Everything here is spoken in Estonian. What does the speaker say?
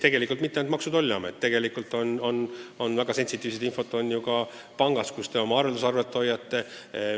Tundlikku infot ei ole ju mitte ainult Maksu- ja Tolliametis, vaid ka pangas, kus teil arveldusarve on.